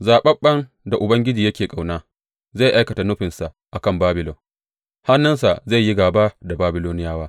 Zaɓaɓɓen da Ubangiji yake ƙauna zai aikata nufinsa a kan Babilon; hannunsa zai yi gāba da Babiloniyawa.